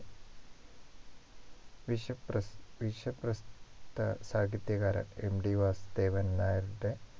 വിശ്വ പ്രസ് വിശ്വ പ്രസ് ത സാഹിത്യകാരൻ MT വാസുദേവൻ നായരുടെ